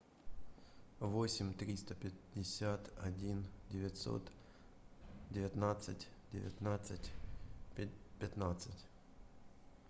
восемь триста пятьдесят один девятьсот девятнадцать девятнадцать пятнадцать